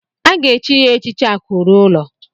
A ga-echi ya echichi Akụ ruo ụlọ.